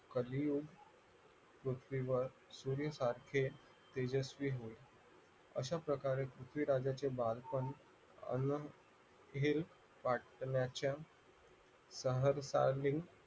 कलियुग पृथ्वीवर तेजस्वी अशा प्रकारे पृथ्वीराजाचे बालपण बाटल्याच्या